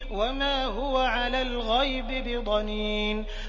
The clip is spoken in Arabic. وَمَا هُوَ عَلَى الْغَيْبِ بِضَنِينٍ